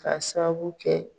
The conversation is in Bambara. Ka sababu kɛ